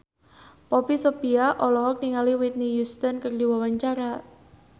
Poppy Sovia olohok ningali Whitney Houston keur diwawancara